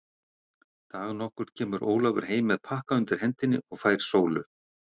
Dag nokkurn kemur Ólafur heim með pakka undir hendinni og fær Sólu.